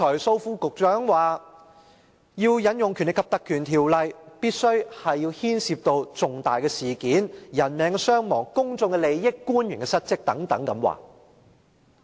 蘇副局長剛才表示，要引用《條例》，必須牽涉重大事件、人命傷亡、公眾利益、官員失職等。